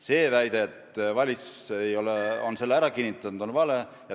See väide, et valitsus on selle ära kinnitanud, on vale.